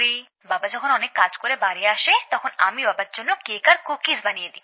বাবা যখন অনেক কাজ করে বাড়ি আসে তখন আমি বাবার জন্য কেক আর কুকিজ বানিয়ে দিই